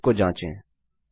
चलिए इसको जाँचें